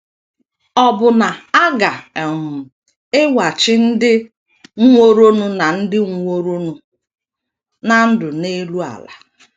Ọbụna a ga - um ewachi ndị nwụworonụ ná ndị nwụworonụ ná ndụ n’elu ala.